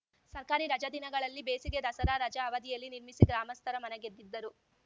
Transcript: ಸರ್ಕಾರಿ ರಜಾ ದಿನಗಳಲ್ಲಿ ಬೇಸಿಗೆ ದಸರಾ ರಜಾ ಅವಧಿಯಲ್ಲಿ ನಿರ್ಮಿಸಿ ಗ್ರಾಮಸ್ಥರ ಮನಗೆದ್ದಿದ್ದರು